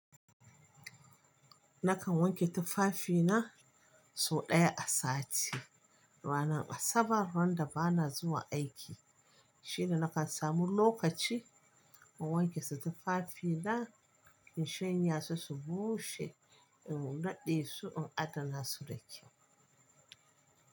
Nakan wanke tufafina sau ɗaya a sati. Ranar Asabar ran da ba na zuwa aiki, shine nakan samu lokaci in wanke su tufafina, in shanya su, su bushe, in naɗe su, in adana su da kyau.